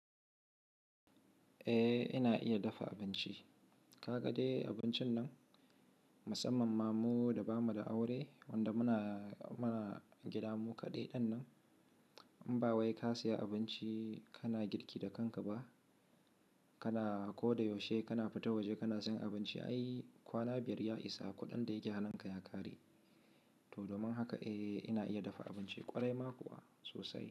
Eh ina iya dafa abinci. Ka ga dai abincin nan? Musamman ma mu da ba mu da aure wanda muna, muna gida mu kaɗai ɗin nan. In ba wai ka saya abinci kana girki da kanka ba, kana ko da yaushe kana fita waje kana sayan abinci. Ai kwana biyar ya isa kuɗin da yake hanunka ya ƙare. To domin haka eh ina iya dafa abinci ƙwarai ma kuwa sosai.